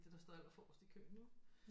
Det der står allerforrest i køen vel